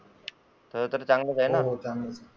तुला तर चांगलेच आहे ना, हो चांगले आहे.